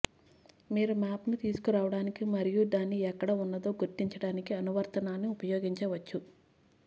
మీరు మాప్ ను తీసుకురావడానికి మరియు దాన్ని ఎక్కడ ఉన్నదో గుర్తించడానికి అనువర్తనాన్ని ఉపయోగించవచ్చు